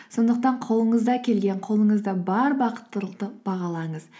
сондықтан қолыңыздан келген қолыңызда бар бақыттылықты бағалаңыз